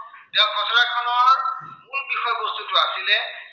মূল বিষয় বস্তুটো আছিলে